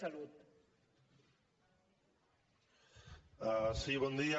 sí bon dia